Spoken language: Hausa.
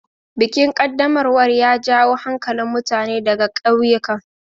Bikin ƙaddamarwar ya jawo hankalin mutane ɗaga kauyukan.